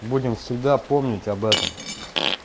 будем всегда помнить об этом